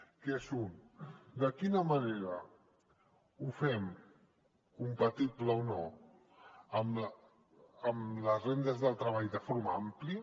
que són un de quina manera ho fem compatible o no amb les rendes del treball de forma àmplia